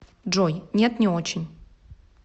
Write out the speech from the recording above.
джой нет не очень